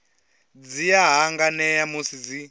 dzi a hanganea musi dzi